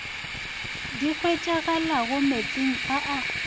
di hwetšagalago meetseng a a